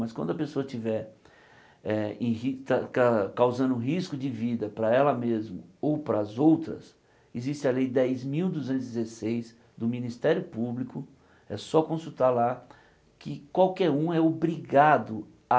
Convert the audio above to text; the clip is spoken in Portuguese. Mas quando a pessoa estiver eh em ri ca causando risco de vida para ela mesmo ou pras outras, existe a lei dez mil duzentos e dezesseis do Ministério Público, é só consultar lá, que qualquer um é obrigado a